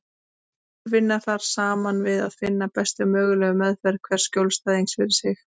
Allir vinna þar saman við að finna bestu mögulegu meðferð hvers skjólstæðings fyrir sig.